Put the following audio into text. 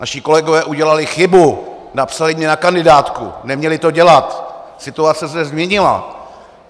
Naši kolegové udělali chybu, napsali mě na kandidátku, neměli to dělat, situace se změnila.